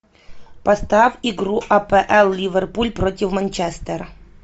поставь игру апл ливерпуль против манчестера